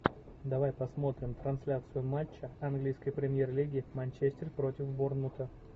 давай посмотрим трансляцию матча английской премьер лиги манчестер против борнмута